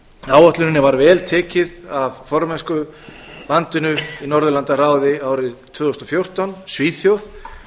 áætluninni var vel tekið af formennskulandinu í norðurlandaráði árið tvö þúsund og fjórtán svíþjóð